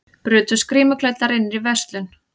Brutust grímuklæddir inn í verslun